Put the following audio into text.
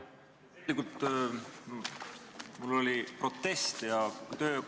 Tegelikult mul oli protest, sellepärast ma vehkisingi käega.